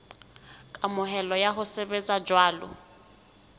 kamohelo ya ho sebetsa jwalo